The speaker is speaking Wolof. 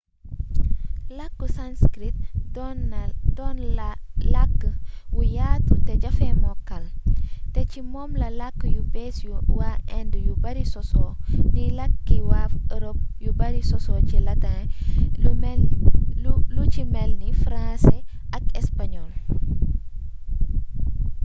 làkku sanskrit doon la làkk wu yaatu te jafee mokkal te ci moom la làkk yu bees yu waa inde yu bari sosoo ni làkki waa europe yu bari sosoo ci latin lu ci melni français ak espagnol